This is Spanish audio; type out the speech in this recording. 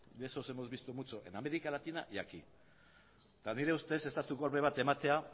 de esos hemos visto mucho en américa latina y aquí eta nire ustez estatu kolpe bat ematea